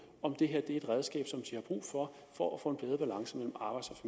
om det her er et redskab de har brug for for at få